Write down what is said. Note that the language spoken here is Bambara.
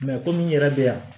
komi n yɛrɛ bɛ yan